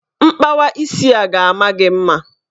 Mkpawa isi a ga-ama gị mma.